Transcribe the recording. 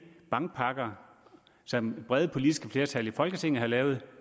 bankpakker som brede politiske flertal i folketinget har lavet